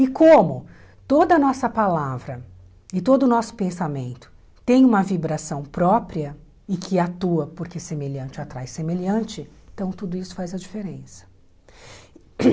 E como toda a nossa palavra e todo o nosso pensamento tem uma vibração própria e que atua porque semelhante atrai semelhante, então tudo isso faz a diferença hum.